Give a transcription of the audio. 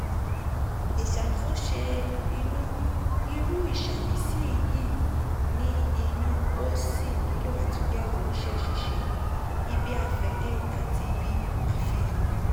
ìṣàtúnṣe inú: irú ìṣàmìsí yìí ní inú ó sì nílò àtúnyẹ̀wò iṣẹ́ ṣíṣe ibi-afẹ̀de àti àfihàn.